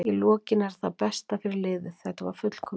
Í lokin er þetta það besta fyrir liðið, þetta var fullkomið.